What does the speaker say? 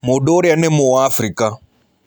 Mũndũ ũrĩa nĩ Mũafrika.